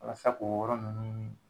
Walasa k'o yɔrɔ ninnu